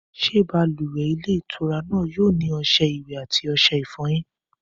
Ṣé balùwẹ̀ ilé ìtura náà yóò ní ọṣẹ ìwẹ̀ àti ọṣẹ ìfọyín?